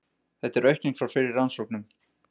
Þetta er aukning frá fyrri rannsóknum